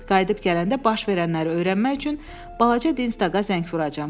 Qayıdıb gələndə baş verənləri öyrənmək üçün balaca Dinstaqa zəng vuracam.